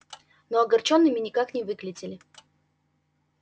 но огорчёнными никак не выглядели